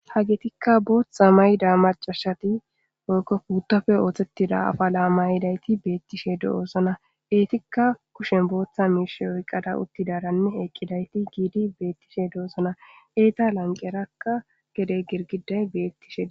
Ha geetikka booththa mayda macashati kouttofe ooththettida afa laamayidayti beettishe do7oosona eetikka kushen booththa miish oyqqada uttidaranne eqqidayti giidi beettishe do7osona eeta lanqerakka gede girgiday beettishe